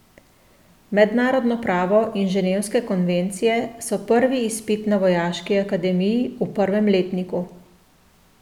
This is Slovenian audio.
Mednarodno pravo in ženevske konvencije so prvi izpit na vojaški akademiji, v prvem letniku.